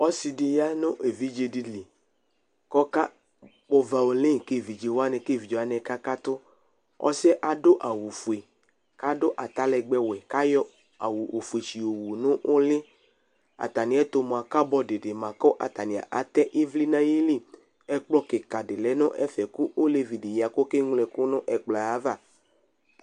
Ɔsɩ ɖɩ ƴa nʋ evidze nɩ liƘʋ ɔƙaƙpɔ vawoni ƙa eviɖze wanɩ ƙʋ aƙa ƙatʋ Ɔsɩ ƴɛ adʋ awʋ fue ,ƙʋ aɖʋ atalɛgbɛ wɛ, ƙʋ ayɔ awʋ fue sɩyɔ wu nʋ ɛlʋAtamɩ ɛtʋ mʋa, ƙabɔɖɩ ɖɩ ma ƙʋ atanɩ atɛ ɩvlɩ nʋ aƴiliƐƙplɔ ƙɩƙa ɖɩ lɛ nʋ ɛfɛ ,ƙʋ olevi ɖɩ ƴa ƙʋ oƙe ŋlo ɛƙʋ nʋ aƴava